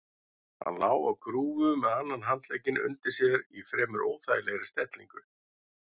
Hann lá á grúfu með annan handlegginn undir sér í fremur óþægilegri stellingu.